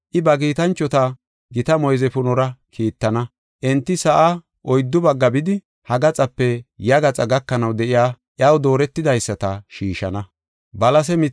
I ba kiitanchota gita moyze punora kiittana. Enti sa7aa oyddu baggaa bidi, ha gaxape ya gaxa gakanaw de7iya iyaw dooretidaysata shiishana.